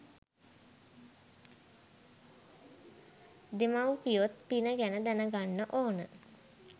දෙමව්පියොත් පින ගැන දැනගන්න ඕන.